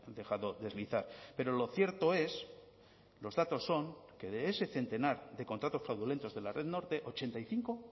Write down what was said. dejado deslizar pero lo cierto es los datos son que de ese centenar de contratos fraudulentos de la red norte ochenta y cinco